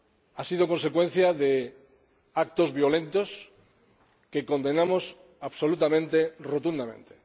Ha sido consecuencia de actos violentos que condenamos absolutamente, rotundamente.